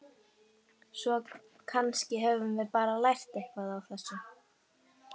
Svo kannski höfum við bara lært eitthvað á þessu.